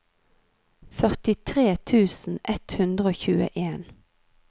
førtitre tusen ett hundre og tjueen